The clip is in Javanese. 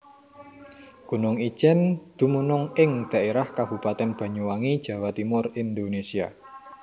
Gunung Ijen dumunung ing dhaérah Kabupaten Banyuwangi Jawa Timur Indonésia